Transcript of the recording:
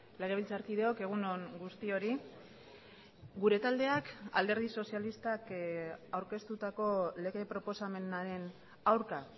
legebiltzarkideok egun on guztiori gure taldeak alderdi sozialistak aurkeztutako lege proposamenaren aurka